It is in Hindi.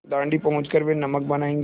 दाँडी पहुँच कर वे नमक बनायेंगे